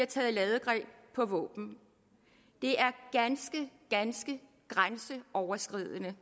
taget ladegreb på våben det er ganske ganske grænseoverskridende